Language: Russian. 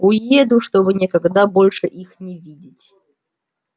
уеду чтобы никогда больше их не видеть